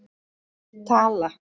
Tala